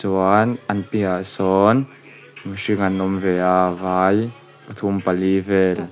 chuan an piahah sawn mihring an awm ve a vai pathum pali vel.